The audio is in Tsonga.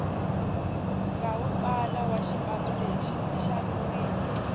ngawi pala washipanuleshi ishaviwile